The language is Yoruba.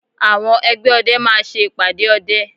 Àwọn ẹgbẹ́ ọdẹ máa ṣe ìpàdé ọdẹ